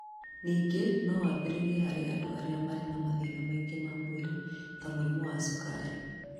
Ningĩ no wambĩrĩrie harĩ andũ arĩa marĩ na mathĩna mangĩ ma mwĩrĩ, ta mũrimũ wa cukari.